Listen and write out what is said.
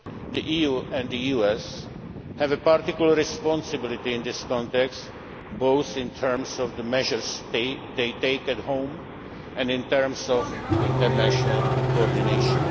the world. The EU and the US have a particular responsibility in this context, both in terms of the measures they take at home and in terms of international coordination.